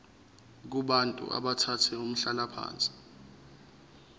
kubantu abathathe umhlalaphansi